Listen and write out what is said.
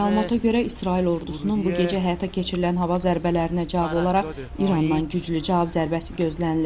Məlumatə görə İsrail ordusunun bu gecə həyata keçirilən hava zərbələrinə cavab olaraq İrandan güclü cavab zərbəsi gözlənilir.